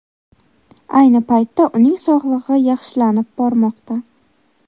Ayni paytda uning sog‘lig‘i yaxshilanib bormoqda.